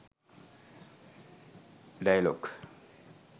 dialog